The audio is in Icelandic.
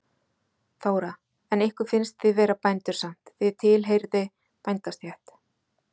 Þóra: En ykkur finnst þið vera bændur samt, þið tilheyrði bændastétt?